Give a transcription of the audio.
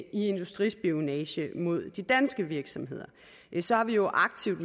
industrispionage mod de danske virksomheder så har vi jo aktivt